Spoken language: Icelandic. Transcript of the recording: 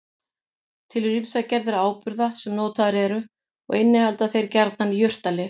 Til eru ýmsar gerðir áburða sem notaðir eru og innihalda þeir gjarnan jurtalyf.